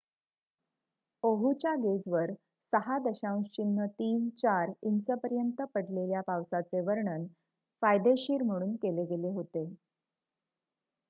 "ओहूच्या गेजवर 6.34 इंचपर्यंत पडलेल्या पावसाचे वर्णन "फायदेशीर" म्हणून केले गेले होते.